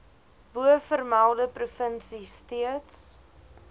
bovermelde provinsie steeds